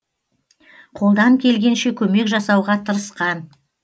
қолдан келгенше көмек жасауға тырысқан